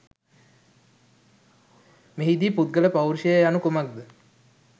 මෙහිදී පුද්ගල පෞරුෂය යනු කුමක්ද